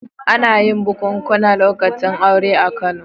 Ana yin bukunkuna lokacin aure a Kano.